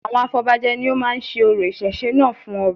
Àwọn afọbajẹ ni ó máa ń se orò ìṣẹ̀ṣe náà fún ọba